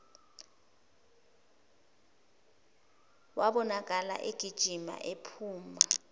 wabonakala egijima ephuma